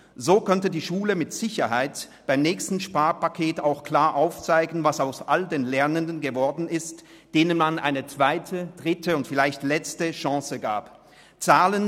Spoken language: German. So könnte die Schule mit Sicherheit beim nächsten Sparpaket auch klar aufzeigen, was aus all den Lernenden geworden ist, denen man eine zweite, dritte und vielleicht letzte Chance gegeben hat.